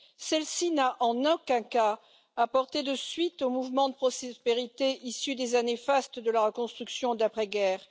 Celle ci n'a en aucun cas apporté de suite au mouvement de prospérité issu des années fastes de la reconstruction d'après guerre.